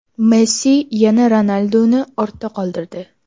Messi yana Ronalduni ortda qoldirdi.